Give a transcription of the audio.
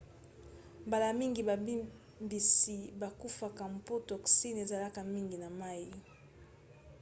mbala mingi bambisi bakufaka mpo toxine ezalaka mingi na mai